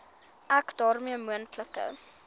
ek daarmee moontlike